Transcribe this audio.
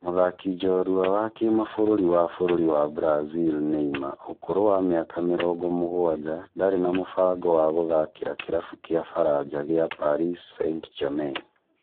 Mũthaki njorua wa kĩmabũrũri wa bũrũri wa Brazil Neymar ũkũrũ wa mĩaka mĩrongo mũgwanja ndarĩ na mũbango wa gũthakĩra kĩrabu kĩa Faranja kĩa Paris St-Germain